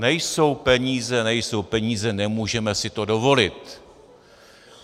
Nejsou peníze, nejsou peníze, nemůžeme si to dovolit.